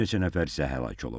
Bir neçə nəfər isə həlak olub.